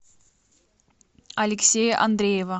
алексея андреева